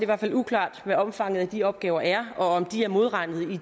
hvert fald uklart hvad omfanget af de opgaver er og om de er modregnet i